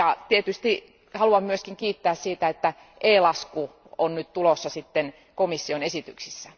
Tietysti haluan myöskin kiittää siitä, että e lasku on nyt tulossa sitten komission esityksissä.